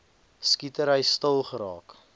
skietery stil geraak